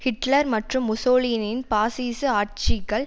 Hitler மற்றும் முசோலினியின் பாசிச ஆட்சிகள்